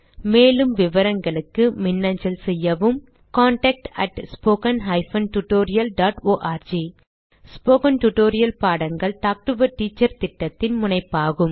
மேலும் விவரங்களுக்கு மின்னஞ்சல் செய்யவும் contactspoken tutorialorg ஸ்போகன் டுடோரியல் பாடங்கள் டாக் டு எ டீச்சர் திட்டத்தின் முனைப்பாகும்